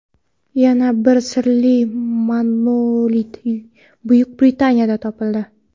Yana bir sirli monolit Buyuk Britaniyada topildi.